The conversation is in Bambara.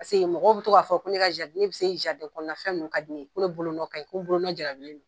Paseke mɔgɔ bɛ to k'a fɔ ko ne bɛ se jariden kɔnɔnafɛn ninnu ka di n ye , ne bolo ko ni bolonɔ jarbilen don.